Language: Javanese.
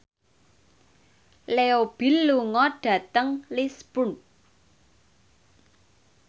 Leo Bill lunga dhateng Lisburn